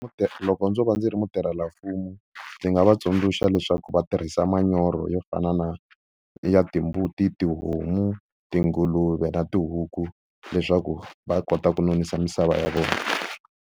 Loko ndzo va ndzi ri mutirhelamfumo ndzi nga va tsundzuxa leswaku va tirhisa manyoro yo fana na ya timbuti, tihomu, tinguluve na tihuku leswaku va kota ku nonisa misava ya vona.